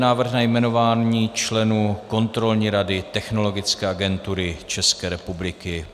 Návrh na jmenování členů Kontrolní rady Technologické agentury České republiky